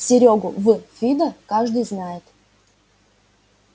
серёгу в фидо каждый знает